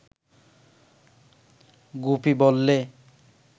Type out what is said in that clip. গুপি বললে